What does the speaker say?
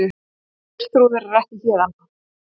Geirþrúður er ekki héðan.